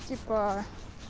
типа